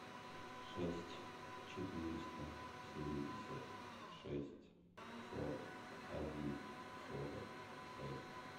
шесть четыреста семьдесят шесть сорок один сорок шесть